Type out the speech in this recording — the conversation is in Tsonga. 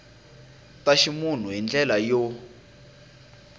ta ximunhu hi ndlela yo